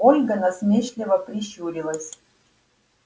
ольга насмешливо прищурилась